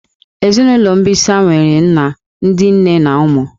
Ezinụlọ mbisa nwere nna, ndị nne na ụmụ